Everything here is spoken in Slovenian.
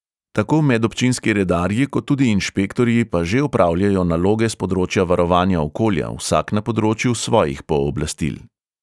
Tako medobčinski redarji kot tudi inšpektorji pa že opravljajo naloge s področja varovanja okolja, vsak na področju svojih pooblastil.